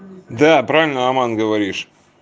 да правильно роман говоришь